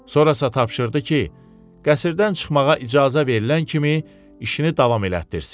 Sonrasa tapşırdı ki, qəsrdən çıxmağa icazə verilən kimi işini davam elətdirsin.